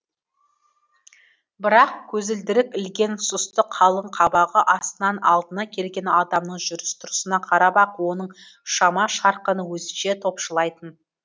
бірақ көзілдірік ілген сұсты қалың қабағы астынан алдына келген адамның жүріс тұрысына қарап ақ оның шама шарқын өзінше топшылайтын